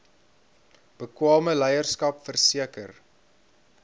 bekwame leierskap verseker